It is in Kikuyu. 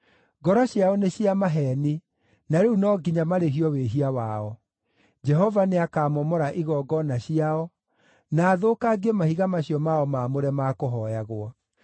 Ngoro ciao nĩ cia maheeni, na rĩu no nginya marĩhio wĩhia wao. Jehova nĩakamomora igongona ciao, na athũkangie mahiga macio mao maamũre ma kũhooyagwo.